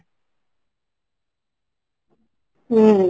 ହୁଁ